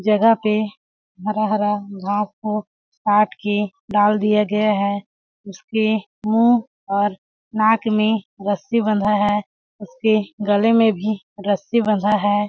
जगह पे हरा-हरा घास-फुस छांट के डाल दिया गया है उसके के मुँह और नाक में रस्सी बंधा है उसके गले में भी रस्सी बंधा हैं ।